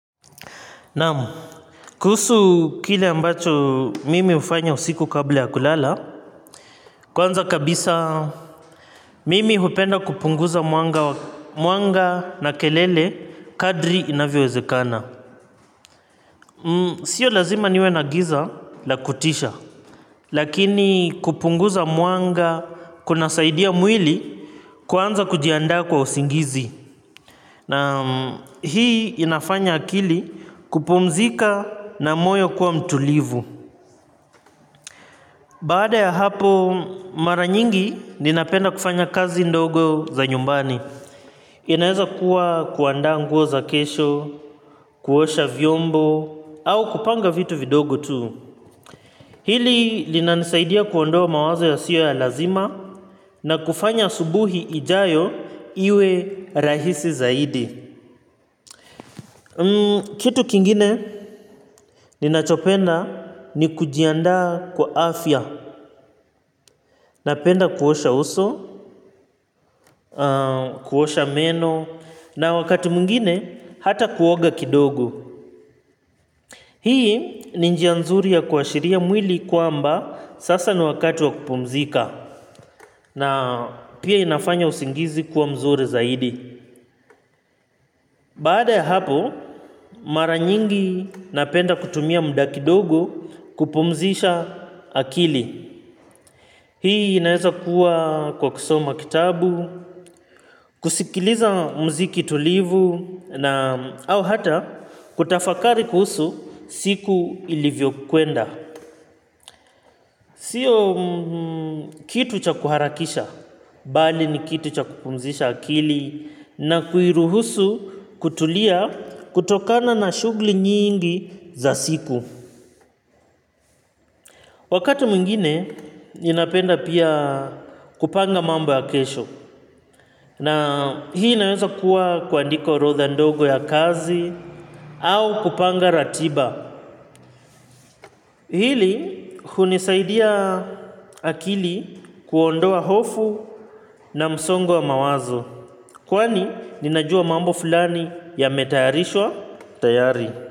Nam kuhusu kile ambacho mimi hufanya usiku kabla ya kulala, kwanza kabisa mimi hupenda kupunguza mwanga na kelele kadri inavyowezekana. Sio lazima niwe na giza la kutisha, lakini kupunguza mwanga kunasaidia mwili kwanza kujianda kwa usingizi. Na hii inafanya akili kupumzika na moyo kuwa mtulivu. Baada ya hapo mara nyingi ninapenda kufanya kazi ndogo za nyumbani. Inaeza kuwa kuandaa nguo za kesho, kuosha vyombo au kupanga vitu vidogo tu. Hili linanisaidia kuondoa mawazo yasiyo ya lazima na kufanya asubuhi ijayo iwe rahisi zaidi. Kitu kingine ninachopenda ni kujiandaa kwa afya. Napenda kuosha uso, kuosha meno na wakati mwingine hata kuoga kidogo. Hii ni njia nzuri ya kuashiria mwili kwamba sasa ni wakati wa kupumzika na pia inafanya usingizi kuwa mzuri zaidi. Baada ya hapo mara nyingi napenda kutumia muda kidogo kupumzisha akili. Hii inaeza kuwa kwa kusoma kitabu, kusikiliza mziki tulivu na au hata kutafakari kuhusu siku ilivyo kuenda. Sio kitu cha kuharakisha, bali ni kitu cha kupumzisha akili na kuiruhusu kutulia kutokana na shughuli nyingi za siku. Wakati mwingine, ninapenda pia kupanga mambo ya kesho. Na hii naeza kuwa kuandika orodha ndogo ya kazi au kupanga ratiba. Hili, hunisaidia akili kuondoa hofu na msongo wa mawazo. Kwani, ninajua mambo fulani yametayarishwa tayari.